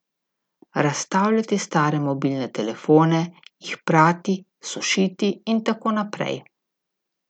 Razstavljati stare mobilne telefone, jih prati, sušiti in tako naprej.